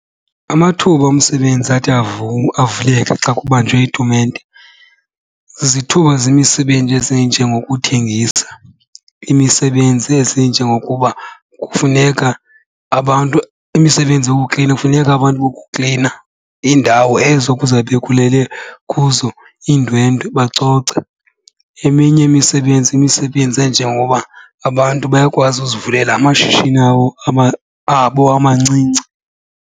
Amathuba omsebenzi athi ivuleke xa kubanjwe itumente zizithuba zemisebenzi ezinjengokuthengisa. Imisebenzi ezinjengokuba kufuneka abantu imisebenzi yokuklina, kufuneka abantu bokuklina iindawo ezo kuza kube kulele kuzo iindwendwe bacoce. Eminye imisebenzi yimisebenzi enjengoba abantu bayakwazi uzivulela amashishini abo abo amancinci.